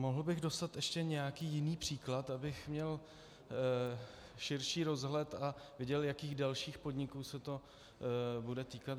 Mohl bych dostat ještě nějaký jiný příklad, abych měl širší rozhled a viděl, jakých dalších podniků se to bude týkat?